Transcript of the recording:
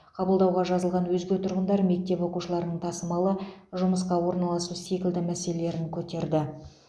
қабылдауға жазылған өзге тұрғындар мектеп оқушыларының тасымалы жұмысқа орналасу секілді мәселелерін көтерді